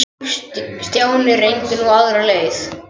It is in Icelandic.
Stjáni reyndi nú aðra leið.